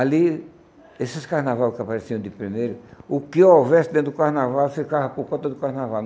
Ali, esses carnaval que apareciam de primeiro, o que houvesse dentro do carnaval, ficava por conta do carnaval.